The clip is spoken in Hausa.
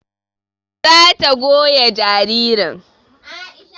Za ta goya jaririn